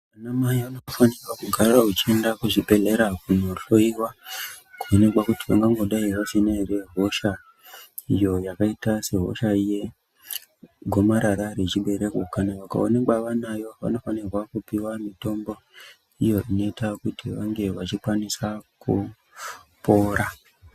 Anamai vanofanirwa kuramba vechienda kuzvibhedhlera kohloiwa kuti vangangodai vasina ere hosha iyo yakaita sehosha yegomarara rechibereko kana vakaonekwa vanayo vanofanira kupiwa mitombo iyo inoita kuti vange vachikwanisa kupora.